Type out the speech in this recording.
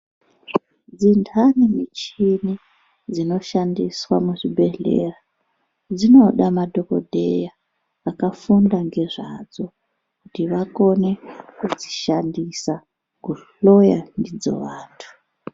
Dzintani michini dzinoshandiswa muzvibhedhleya dzinoda madhokodheya akafunda ngezvadzo kuti vakone kudzishandisa kuhloya ndidzo vantu.